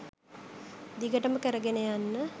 දිගටම කරගෙන යන්න